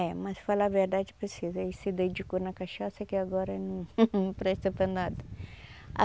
É, mas falar a verdade precisa ele se dedicou na cachaça que agora num num presta para nada. ah